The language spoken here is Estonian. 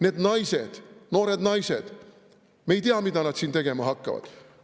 Need naised, noored naised – me ei tea, mida nad siin tegema hakkavad.